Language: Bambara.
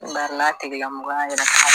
ba n'a tigilamɔgɔ y'a yira k'a